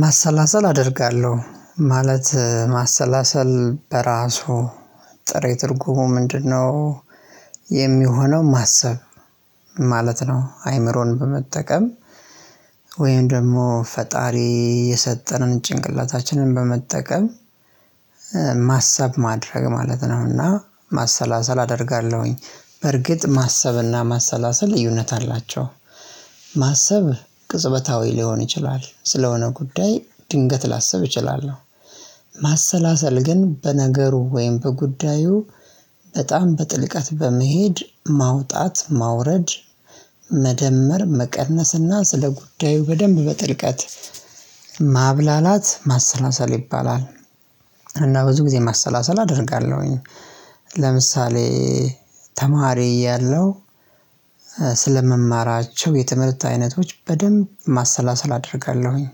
ማሰላሰል አደርጋለሁ ማለት ማሰላሰል በራሱ ጥሬ ትርጉሙ ምንድነው? የሚሆነው ማሰብ ማለት ነው። አይምሮን በመጠቀም። ወይም ደግሞ ፈጣሪ የሰጠንን ጭንቅላታችንን በመጠቀም ማሰብ ማድረግ ማለት ነው። እና ማሰላሰል አደርጋለሁኝ በርግጥ ማሰብ እና ማሰላሰል ልዩነት አላቸው። ማሰብ ቅጽበታዊ ሊሆን ይችላል ስለሆነ ጉዳይ ድንገት ላስብ እችላለሁ። ማሰላሰል ግን በነገሩ ወይም በጉዳዩ በጣም በጥልቀት በመሄድ ማውጣት ማውረድ መደመር መቀነስ እና ስለ ጉዳዩ በደንብ በጥልቀት ማብላላት ማሰላሰል ይባላል። እና ብዙ ጊዜ ማሰላሰል አደርጋለሁኝ። ለምሳሌ ተማሪ ያለው እያለሁ ስለምማራቸው የትምህርት አይነቶች በደንብ ማሰላሰል አደርጋለሁኝ።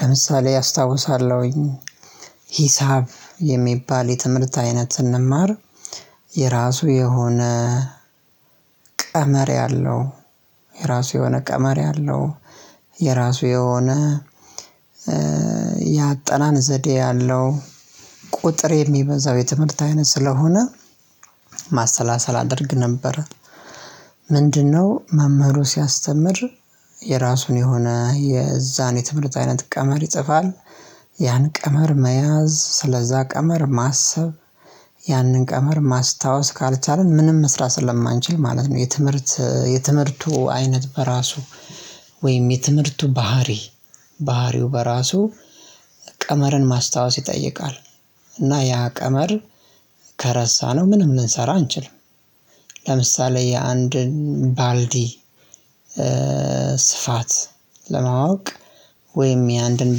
ለምሳሌ አስታውሳለሁኝ። ሂሳብ የሚባል የትምህርት አይነት ስንማር የራሱ የሆነ ቀመር ያለው የራሱ የሆነ ቀመር ያለው የራሱ የሆነ ያጠናን ዘዴ ያለው ቁጥር የሚበዛው የትምህርት አይነት ስለሆነ ማሰላሰል አደርግ ነበር። ምንድነው? መምህሩ ሲያስተምር የራሱን የሆነ የዛን የትምህርት አይነት ቀመር ይጽፋል። ያን ቀመር መያዝ ስለዛ ቀመር ማሰብ ያንን ቀመር ማስታወስ ካልቻልን ምንም መስራት ስለማንችል ማለት ነው። የትምህርት የትምህርቱ አይነት በራሱ ወይም የትምህርቱ ባህሪ ባህሪው በራሱ ቀመርን ማስታወስ ይጠይቃል። እና ያ ቀመር ከረሳነው ምንም ልንሰራ አንችልም። ለምሳሌ የአንድን ባልዲ ስፋት ለማወቅ ወይም የአንድን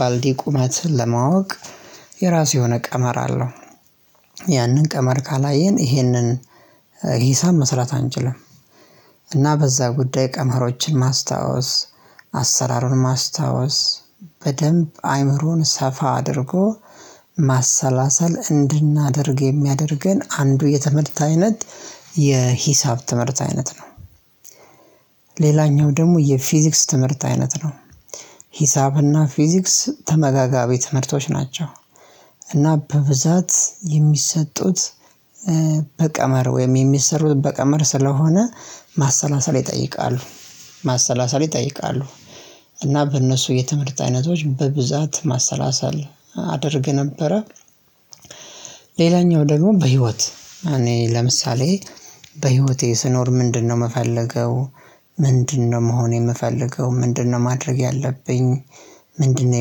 ባልዲ ቁመት ለማወቅ የራሱ የሆነ ቀመር አለው። ያንን ቀመር ካላየን ይሄንን ሂሳብ መስራት አንችልም። እና በዛ ጉዳይ ቀመሮችን ማስታወስ አሰራሩን ማስታወስ በደንብ አይምሮን ሰፋ አድርጎ ማሰላሰል እንድናደርግ የሚያደርገን አንዱ የትምህርት አይነት የሂሳብ ትምህርት አይነት ነው። ሌላኛው ደግሞ የፊዚክስ ትምህርት አይነት ነው። ሂሳብ እና ፊዚክስ ተመጋጋቢ ትምህርቶች ናቸው። እና በብዛት የሚሰጡት በቀመር ወይም የሚሰሩት በቀመር ስለሆነ ማሰላሰል ይጠይቃሉ። ማሰላሰል ይጠይቃሉ እና በእነሱ የትምህርት አይነቶች በብዛት ማሰላሰል አደርግ ነበረ። ሌላኛው ደግሞ በህይወት እኔ ለምሳሌ በህይወቴ ስኖር ምንድነው? የምፈልገው? ምንድነው? መሆን የምፈልገው ምንድነው? ማድረግ ያለብኝ? ምንድነው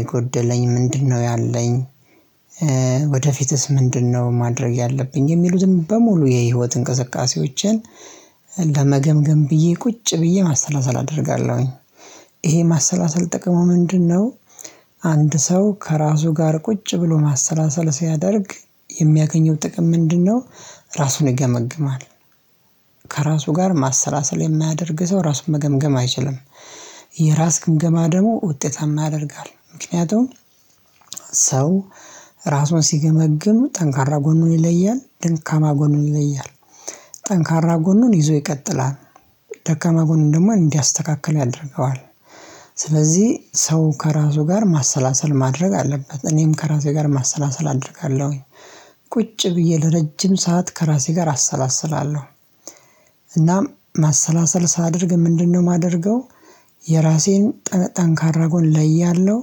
የጎደለኝ ምንድነው? ያለኝ ወደፊትስ ምንድነው ማድረግ ያለብኝ የሚሉትን በሙሉ የህይወት እንቅስቃሴዎችን። ለመገምገም ብዬ ቁጭ ብዬ ማሰላሰል አደርጋለሁኝ። ይሄ ማሰላሰል ጥቅሙ ምንድነው? አንድ ሰው ከራሱ ጋር ቁጭ ብሎ ማሰላሰል ሲያደርግ የሚያገኘው ጥቅም ምንድነው? ራሱን ይገመግማል። ከራሱ ጋር ማሰላሰል የማያደርግ ሰው ራሱን መገምገም አይችልም። የራስ ግምገማ ደግሞ ውጤታማ ያደርጋል ምክንያቱም። ሰው ራሱን ሲገመግሙ ጠንካራ ጎኑን ይለያል ደካማ ጎኑን ይለያል። ጠንካራ ጎኑን ይዞ ይቀጥላል። ደካማ ጎኑን ደግሞ እንዲያስተካክል ያደርገዋል። ስለዚህ ሰው ከራሱ ጋር ማሰላሰል ማድረግ አለበት። እኔም ከራሴ ጋር ማሰላሰል አደርጋለሁኝ። ቁጭ ብዬ ለረጅም ሰዓት ከራሴ ጋር አሰላስላለሁ። እናም ማሰላሰል ሳደርግ ምንድነው የማደርገው? የራሴን ጠንካራ ጎን ለያለሁ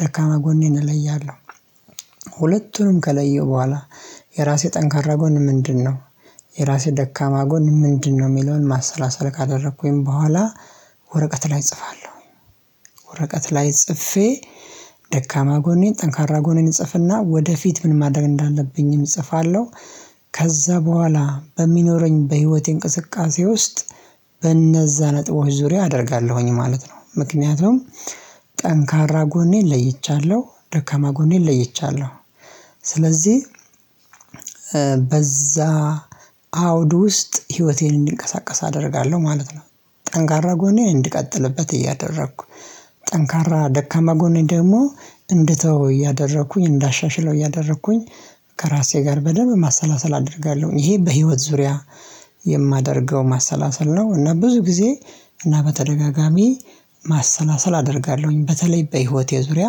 ደካማ ጎኔን እለያለሁ። ሁለቱንም ከለየው በኋላ የራሴ ጠንካራ ጎን ምንድነው? የራሴ ደካማ ጎን ምንድነው? የሚለውን ማሰላሰል ካደረኩኝ በኋላ። ወረቀት ላይ እጽፋለሁ። ወረቀት ላይ ጽፌ ደካማ ጎኔን ጠንካራ ጎኔን እጽፍ እና ወደፊት ምን ማድረግ እንዳለብኝም እጽፋለሁ። ከዛ በኋላ በሚኖረኝ በህይወቴ እንቅስቃሴ ውስጥ በእነዛ ነጥቦች ዙሪያ አደርጋለሁኝ ማለት ነው። ምክንያቱም ጠንካራ ጎኔን ለይቻለሁ ደካማ ጎኔን ለይቻለሁ። ስለዚህ በዛ አውድ ውስጥ ህይወቴን እንዲንቀሳቀስ አደርጋለሁ ማለት ነው። ጠንካራ ጎኔ እንድቀጥልበት እያደረኩ ጠንካራ ደካማ ጎኔ ደግሞ እንድተው እያደረኩኝ እንዳሻሽለው እያደረኩኝ ከራሴ ጋር በደንብ ማሰላሰል አደርጋለሁኝ። ይሄ በህይወት ዙሪያ የማደርገው ማሰላሰል ነው። እና ብዙ ጊዜ እና በተደጋጋሚ ማሰላሰል አደርጋለሁኝ። በተለይ በህይወቴ ዙሪያ